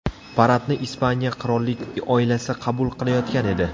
Paradni Ispaniya qirollik oilasi qabul qilayotgan edi.